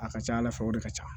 A ka ca ala fɛ o de ka ca